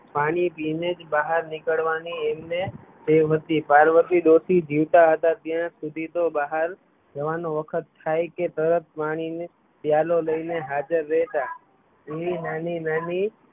પાણી પીય ને જ બહાર નીકળવા ની એમને ટેવ હતી, પાર્વતી ડોશી જીવતા હતા ત્યાં સુધી તો બહાર જવાનો વખત થાય કે તરત પાણી નો પ્યાલો લઈને હાજર રહેતા એવી નાની નાની